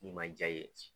N'i ma jaa ye